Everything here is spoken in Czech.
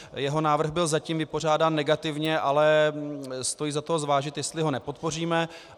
Jeho návrh byl zatím vypořádán negativně, ale stojí za to zvážit, jestli ho nepodpoříme.